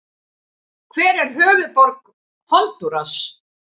Hver er höfuðborg Honduras?